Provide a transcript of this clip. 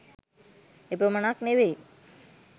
එපමණක් නොවෙයි